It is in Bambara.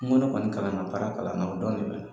N ko ne kɔni kalan na baara kalan na o dɔrɔn de bɛ ne la.